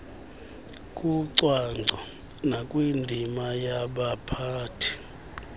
kucwangco nakwindima yabaphathi